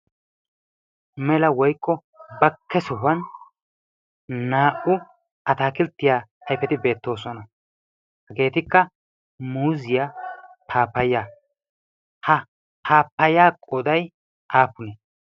mela woyko bakke sohuwan naa"u ataakilttiyaa aifeti beettoosona. hageetikka muuziyaa paapaya. ha paapaya qoday aapune?